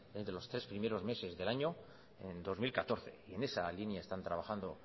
entre los tres primeros meses del año en dos mil catorce y en esa línea están trabajando